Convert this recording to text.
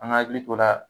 An ka hakili to la